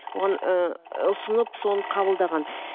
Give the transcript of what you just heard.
оған ыыы ұсынып соны қабылдаған